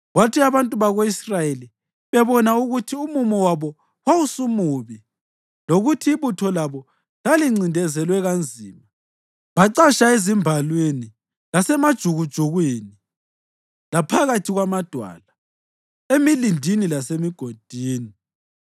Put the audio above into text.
Kwathi abantu bako-Israyeli bebona ukuthi umumo wabo wawusumubi lokuthi ibutho labo lalincindezelwe kanzima, bacatsha ezimbalwini lasemajukujukwini, laphakathi kwamadwala, emilindini lasemigodini.